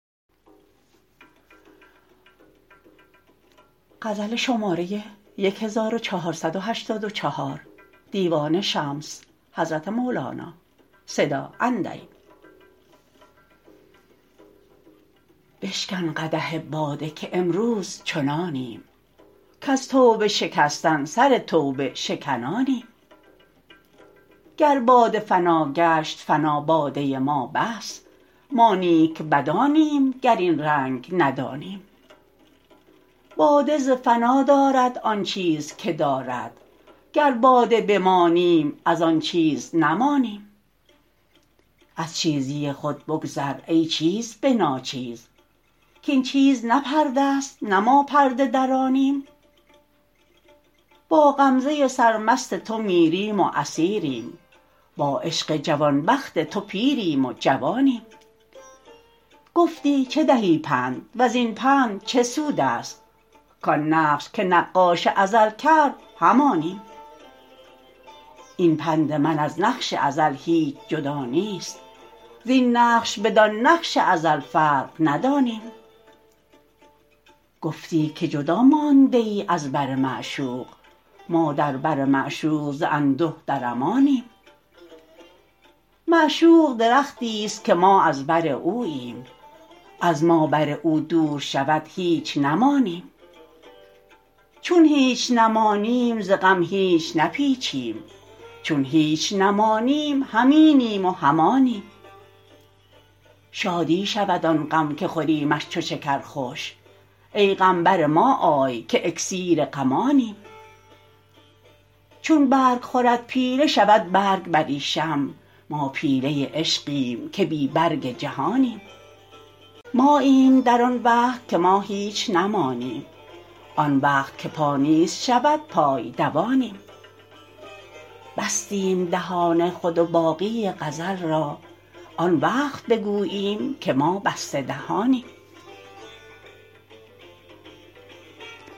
بشکن قدح باده که امروز چنانیم کز توبه شکستن سر توبه شکنانیم گر باده فنا گشت فنا باده ما بس ما نیک بدانیم گر این رنگ ندانیم باده ز فنا دارد آن چیز که دارد گر باده بمانیم از آن چیز نمانیم از چیزی خود بگذر ای چیز به ناچیز کاین چیز نه پرده ست نه ما پرده درانیم با غمزه سرمست تو میریم و اسیریم با عشق جوان بخت تو پیریم و جوانیم گفتی چه دهی پند و زین پند چه سود است کان نقش که نقاش ازل کرد همانیم این پند من از نقش ازل هیچ جدا نیست زین نقش بدان نقش ازل فرق ندانیم گفتی که جدا مانده ای از بر معشوق ما در بر معشوق ز انده در امانیم معشوق درختی است که ما از بر اوییم از ما بر او دور شود هیچ نمانیم چون هیچ نمانیم ز غم هیچ نپیچیم چون هیچ نمانیم هم اینیم و هم آنیم شادی شود آن غم که خوریمش چو شکر خوش ای غم بر ما آی که اکسیر غمانیم چون برگ خورد پیله شود برگ بریشم ما پیله عشقیم که بی برگ جهانیم ماییم در آن وقت که ما هیچ نمانیم آن وقت که پا نیست شود پای دوانیم بستیم دهان خود و باقی غزل را آن وقت بگوییم که ما بسته دهانیم